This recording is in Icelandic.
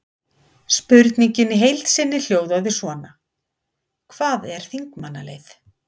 Spurningin í heild sinni hljóðaði svona: Hvað er þingmannaleið?